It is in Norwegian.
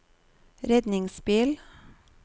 redningsbil